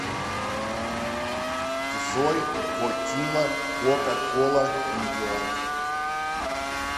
джой гокилла кока кола видео